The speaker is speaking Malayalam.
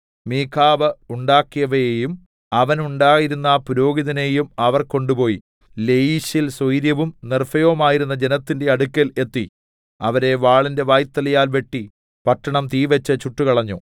മീഖാവ് ഉണ്ടാക്കിയവയെയും അവന് ഉണ്ടായിരുന്ന പുരോഹിതനെയും അവർ കൊണ്ടുപോയി ലയീശിൽ സ്വൈരവും നിർഭയവുമായിരുന്ന ജനത്തിന്റെ അടുക്കൽ എത്തി അവരെ വാളിന്റെ വായ്ത്തലയാൽ വെട്ടി പട്ടണം തീവെച്ച് ചുട്ടുകളഞ്ഞു